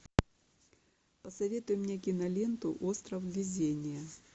посоветуй мне киноленту остров везения